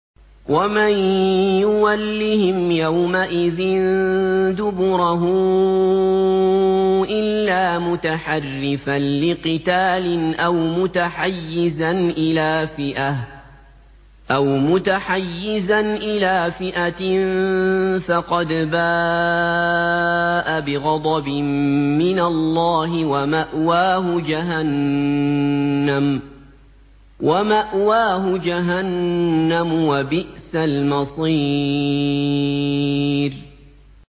وَمَن يُوَلِّهِمْ يَوْمَئِذٍ دُبُرَهُ إِلَّا مُتَحَرِّفًا لِّقِتَالٍ أَوْ مُتَحَيِّزًا إِلَىٰ فِئَةٍ فَقَدْ بَاءَ بِغَضَبٍ مِّنَ اللَّهِ وَمَأْوَاهُ جَهَنَّمُ ۖ وَبِئْسَ الْمَصِيرُ